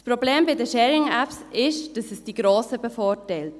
Das Problem bei den Sharing-Apps ist, dass sie die Grossen bevorteilen.